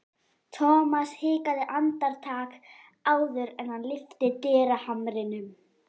Thomas hikaði andartak áður en hann lyfti dyrahamrinum.